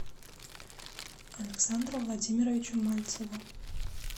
александру владимировичу мальцеву